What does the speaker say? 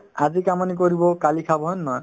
আজি কাম আনি কৰিব কালি খাব হয়নে নহয়